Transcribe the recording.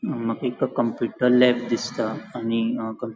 माका एक computer lab दिसता आणि अ क --